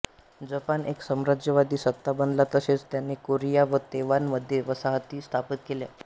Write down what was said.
Japan एक साम्राज्यवादी सत्ता बनला तसेच त्याने कोरिया व तैवान मध्ये वसाहती स्थापित केल्या